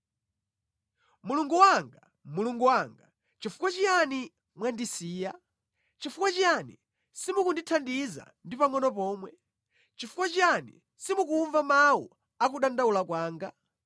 Mulungu wanga, Mulungu wanga, nʼchifukwa chiyani mwandisiya? Chifuwa chiyani simukundithandiza ndi pangʼono pomwe? Nʼchifukwa chiyani simukumva mawu a kudandaula kwanga?